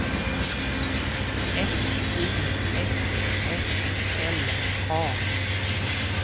S Y S S L A